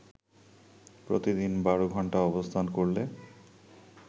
প্রতিদিন বারো ঘন্টা অবস্থান করলে